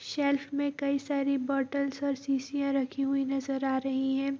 Self में कई सारी बॉटल्स और शीशियाँ रखी हुई नजर आ रही है ।